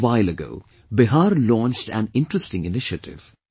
Just a while ago, Bihar launched an interesting initiative